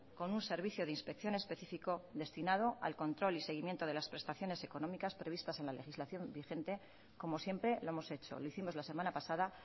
con un servicio de inspección específico destinado al control y seguimiento de las prestaciones económicas previstas en la legislación vigente como siempre lo hemos hecho lo hicimos la semana pasada